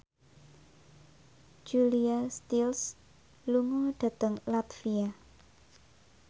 Julia Stiles lunga dhateng latvia